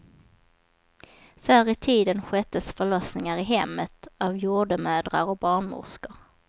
Förr i tiden sköttes förlossningar i hemmet av jordemödrar och barnmorskor.